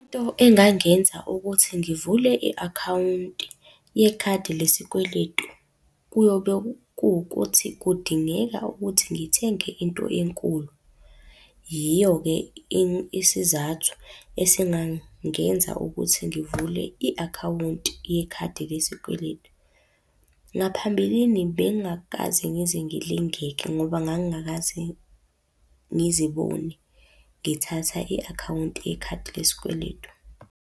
Into engangenza ukuthi ngivule i-akhawunti yekhadi lesikweletu, kuyobe kuwukuthi kudingeka ukuthi ngithenge into enkulu. Yiyo-ke isizathu esingangenza ukuthi ngivule i-akhawunti yekhadi lesikweletu. Ngaphambilini bengingakaze ngize ngilingeke ngoba ngangingakaze ngizibone ngithatha i-akhawunti yekhadi lesikweletu.